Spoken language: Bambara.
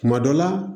Kuma dɔ la